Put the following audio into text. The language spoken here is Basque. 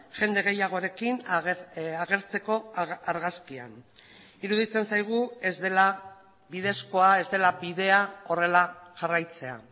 jende gehiagorekin agertzeko argazkian iruditzen zaigu ez dela bidezkoa ez dela bidea horrela jarraitzea